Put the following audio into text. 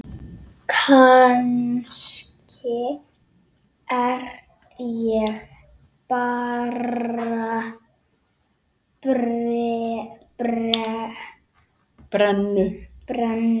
Kannski er ég bara brennu